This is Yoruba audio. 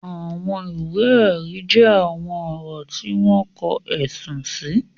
Àwọn ìwé ẹ̀rí jẹ́ àwọn ọ̀rọ̀ tí wọ́n kọ, ẹ̀sùn sì.